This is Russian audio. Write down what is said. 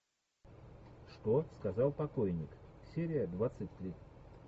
что сказал покойник серия двадцать три